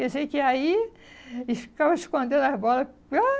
Eu sei que aí, eles ficavam escondendo as bolas.